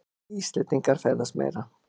Íslendingar ferðast meira